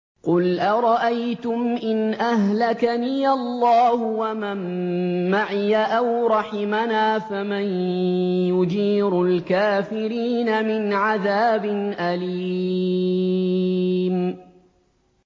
قُلْ أَرَأَيْتُمْ إِنْ أَهْلَكَنِيَ اللَّهُ وَمَن مَّعِيَ أَوْ رَحِمَنَا فَمَن يُجِيرُ الْكَافِرِينَ مِنْ عَذَابٍ أَلِيمٍ